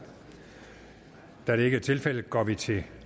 da det ikke er tilfældet går vi til